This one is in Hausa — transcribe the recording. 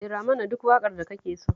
Rera mana duk waƙar da kake so